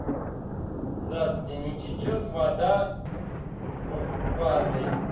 здравствуйте не течет вода в ванной